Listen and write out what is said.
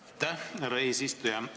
Aitäh, härra eesistuja!